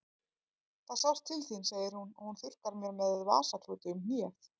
Það sást til þín, segir hún og hún þurrkar mér með vasaklúti um hnéð.